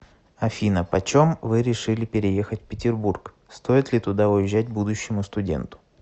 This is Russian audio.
афина почем вы решили переехать в петербург стоит ли туда уезжать будущему студенту